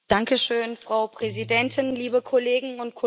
Frau Präsidentin, liebe Kolleginnen und Kollegen!